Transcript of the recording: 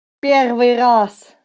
первый раз